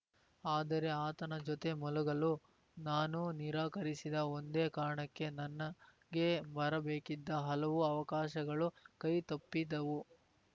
ಆದರೆ ಆತನ ಜೊತೆ ಮಲಗಲು ನಾನು ನಿರಾಕರಿಸಿದ ಒಂದೇ ಕಾರಣಕ್ಕೆ ನನ್ನಗೆ ಬರಬೇಕಿದ್ದ ಹಲವು ಅವಕಾಶಗಳು ಕೈತಪ್ಪಿದ್ದವು